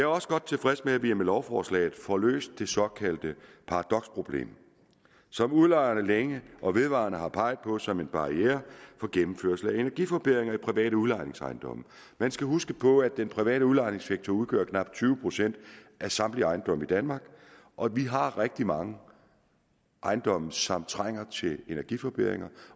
også godt tilfreds med at vi med lovforslaget får løst det såkaldte paradoksproblem som udlejerne længe og vedvarende har peget på som en barriere for gennemførelse af energiforbedringer i private udlejningsejendomme man skal huske på at den private udlejningssektor udgør knap tyve procent af samtlige ejendomme i danmark og vi har rigtig mange ejendomme som trænger til energiforbedringer